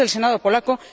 2 del Senado polaco